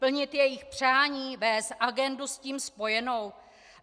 Plnit jejich přání, vést agendu s tím spojenou?